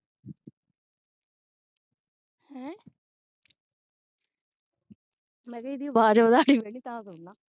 ਮੈਂ ਕਿਹਾ ਏਦੀ ਆਵਾਜ਼ ਵਧਾਣੀ ਪੈਣੀ ਤਾਂ ਸੁਣਨਾ